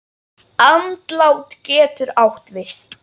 Andlát getur átt við